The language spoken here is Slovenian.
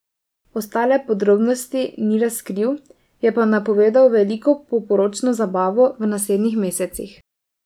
Ostale podrobnosti ni razkril, je pa napovedal veliko poporočno zabavo v naslednjih mesecih.